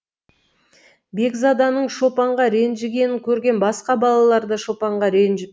бекзаданың шопанға ренжігенін көрген басқа балалар да шопанға ренжіпті